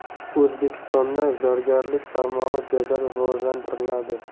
O‘zbekistonda zargarlik tarmog‘i jadal rivojlantiriladi.